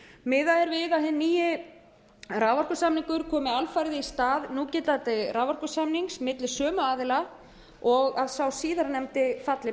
við að hinn nýi raforkusamningur komi alfarið í stað núgildandi raforkusamnings milli sömu aðila og að sá síðarnefndi falli